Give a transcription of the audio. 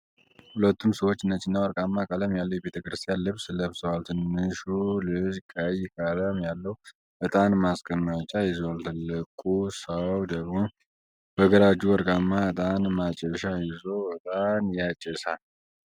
ሁለቱም ሰዎች ነጭና ወርቃማ ቀለም ያለው የቤተ ክርስቲያን ልብስ ለብሰዋል። ትንሹ ልጅ ቀይ ቀለም ያለው ዕጣን ማስቀመጫ ይዟል፣ ትልቁ ሰው ደግሞ በግራ እጁ ወርቃማ ዕጣን ማጨሻ ይዞ ዕጣን ያጨሳል።